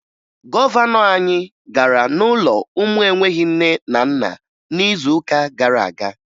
Gọvanọ anyị gara n'ụlọ ụmụ enweghi nne na nna n'izuụka gara aga